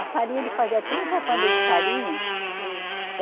A farinha, ele fazia trinta de farinha. Hum.